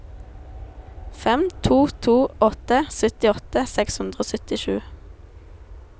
fem to to åtte syttiåtte seks hundre og syttisju